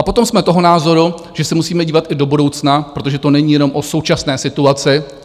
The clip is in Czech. A potom jsme toho názoru, že se musíme dívat i do budoucna, protože to není jenom o současné situaci.